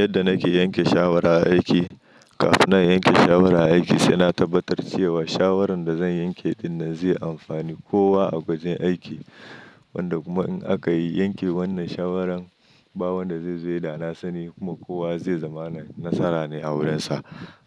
Yadda nake yanke shawara aiki, kafin na yanke shawara aiki sai na tabbatar cewa shawarar da zan yanke dinnan zai amfani kowa a wajen aiki. Wanda kuma in aka yi yanke wannan shawaran, ba wanda zai zo yi da sani kuma kowa zai zama nasara ne a wurinsa.